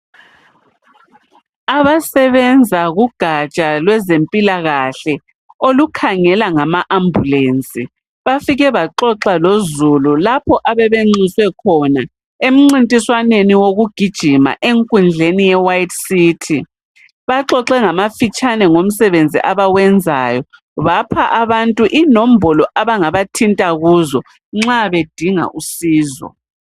Abasenza kugaja lwezempilakahle olukhangela ngama smbulensi bafike baxoxa lo Zulu lapho abebe nxuswe khona emcintiswaneni wokugijima enkundleni ye white city baxoxe ngamafitshame ngomsebenzi abawenzayo bapha abantu inomboli abangabathinta kuzo nxa bedinga usizo